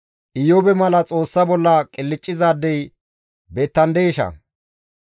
Iyoobe mala Xoossa bolla qilccizaadey beettandeesha?